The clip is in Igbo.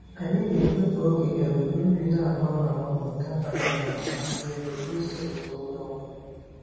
Anyị na-ekwe ka oge um nri na-agbanwe agbanwe dabara na mmasị nri na usoro nke onye ọ bụla.